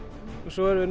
og svo erum við